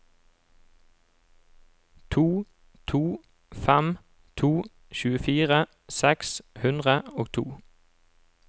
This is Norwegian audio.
to to fem to tjuefire seks hundre og to